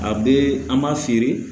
A bee an b'a feere